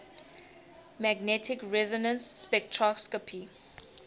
magnetic resonance spectroscopy